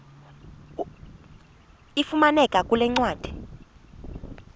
ifumaneka kule ncwadi